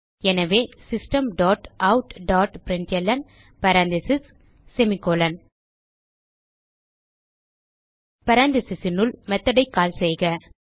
எனவே system dot out dot println parenthesisனுள் methodஐ கால் செய்க